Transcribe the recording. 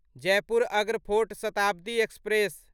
Jaipur Agra fort Shatabdi express